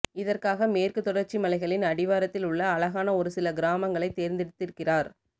இதற்காக மேற்குத் தொடர்ச்சி மலைகளின் அடிவாரத்தில் உள்ள அழகான ஒரு சில கிராமங்களை தேர்ந்தெடுத்திருக்கிறார்